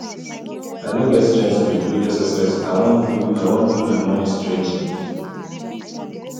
i no get strength to do exercise i wan do i wan do my morning stretching